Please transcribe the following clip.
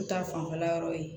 N ta fanfɛla yɔrɔ ye